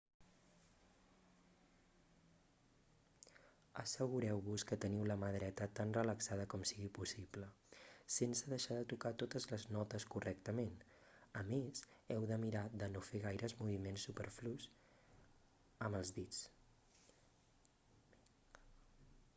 assegureu-vos que teniu la mà dreta tan relaxada com sigui possible sense deixar de tocar totes les notes correctament a més heu de mirar de no fer gaires moviments superflus amb els dits